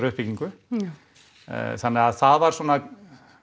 uppbyggingu þannig að það voru svona